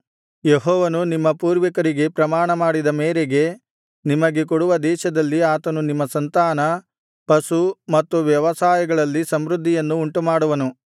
ಯೆಹೋವನು ನಿಮ್ಮ ಪೂರ್ವಿಕರಿಗೆ ಪ್ರಮಾಣ ಮಾಡಿದ ಮೇರೆಗೆ ನಿಮಗೆ ಕೊಡುವ ದೇಶದಲ್ಲಿ ಆತನು ನಿಮ್ಮ ಸಂತಾನ ಪಶು ಮತ್ತು ವ್ಯವಸಾಯಗಳಲ್ಲಿ ಸಮೃದ್ಧಿಯನ್ನು ಉಂಟುಮಾಡುವನು